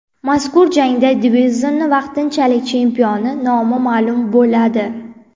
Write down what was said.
Mazkur jangda divizionning vaqtingchalik chempioni nomi ma’lum bo‘ladi.